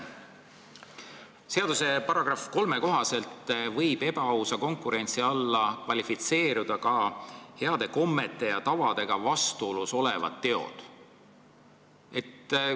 Seaduse § 3 kohaselt võib ebaausa konkurentsi alla kvalifitseeruda ka heade kommete ja tavadega vastuolus olevad teod.